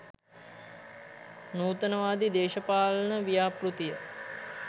නූතනවාදී දේශපාලන ව්‍යාපෘතිය?